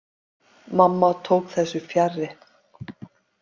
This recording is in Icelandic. Mamma tók þessu fjarri.